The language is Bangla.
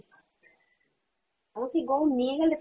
আমাকে গৌড় নিয়ে গেলে তবে